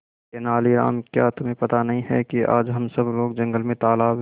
तेनालीराम क्या तुम्हें पता नहीं है कि आज हम सब लोग जंगल में तालाब